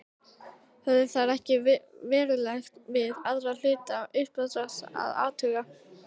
Höfðu þeir ekkert verulegt við aðra hluta uppdráttarins að athuga.